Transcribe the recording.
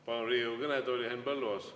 Palun Riigikogu kõnetooli Henn Põlluaasa.